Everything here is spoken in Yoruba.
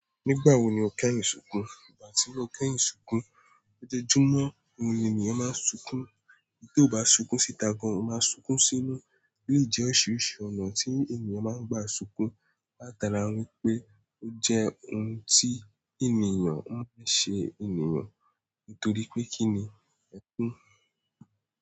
Nígbà wo ni o kẹ́yìń sùnkùn? Ìgbà tí mo kẹ́yìń sùnkùn, ọjọ́júmọ́, ni ènìyàn máa ń sunkún. Tí ó bá sunkún síta gan, o máa sunkún sínú. O lè jẹ́ ọ̀riṣiriṣì ọnà tí ènìyàn máa ń gba sunkún. Láta ni wípé ó jẹ́ ohun tí ènìyàn ń fi sẹ ènìyàn. Nítorí pé kíni ẹkún?